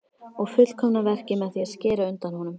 Og fullkomna verkið með því að skera undan honum.